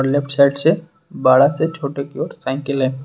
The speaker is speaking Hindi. लेफ्ट साइड से बड़ा से छोटे की ओर साइकिल है।